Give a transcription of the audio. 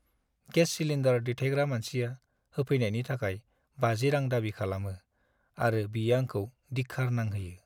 Gas cylinder दैथायग्रा मानसिया होफैनायनि थाखाय 50 रां दाबि खालामो आरो बियो आंखौ दिख्खार नांहोयो।